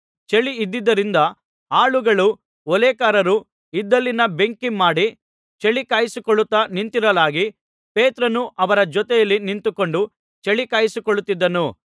ಚಳಿಯಿದ್ದುದರಿಂದ ಆಳುಗಳೂ ಓಲೇಕಾರರೂ ಇದ್ದಲಿನ ಬೆಂಕಿ ಮಾಡಿ ಚಳಿ ಕಾಯಿಸಿಕೊಳ್ಳುತ್ತಾ ನಿಂತಿರಲಾಗಿ ಪೇತ್ರನೂ ಅವರ ಜೊತೆಯಲ್ಲಿ ನಿಂತುಕೊಂಡು ಚಳಿ ಕಾಯಿಸಿಕೊಳ್ಳುತ್ತಿದ್ದನು